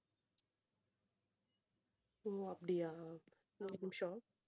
ஓ அப்படியா ஒரு நிமிஷம்